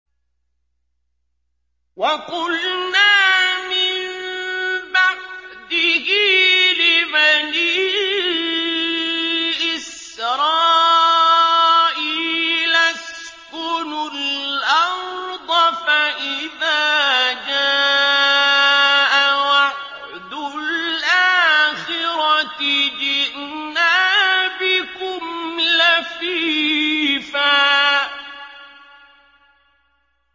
وَقُلْنَا مِن بَعْدِهِ لِبَنِي إِسْرَائِيلَ اسْكُنُوا الْأَرْضَ فَإِذَا جَاءَ وَعْدُ الْآخِرَةِ جِئْنَا بِكُمْ لَفِيفًا